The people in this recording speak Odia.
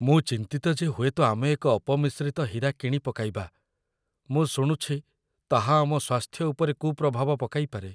ମୁଁ ଚିନ୍ତିତ ଯେ ହୁଏତ ଆମେ ଏକ ଅପମିଶ୍ରିତ ହୀରା କିଣି ପକାଇବା। ମୁଁ ଶୁଣୁଛି ତାହା ଆମ ସ୍ୱାସ୍ଥ୍ୟ ଉପରେ କୁପ୍ରଭାବ ପକାଇପାରେ।